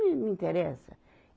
Não me interessa.